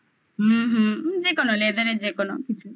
হুম হুম. যেকোনো leather যেকোনো কিছু